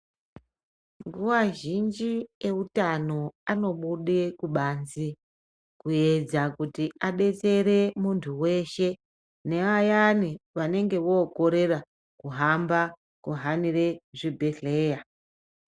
Nguwa zhinji eutano anobude kubanzi kuedza kuti adetsere muntu weshe nevayani vanenge vokorera kuhamba kuhanire zvibhehleya.